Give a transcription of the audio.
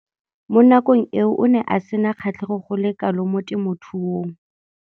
Mo nakong eo o ne a sena kgatlhego go le kalo mo temothuong.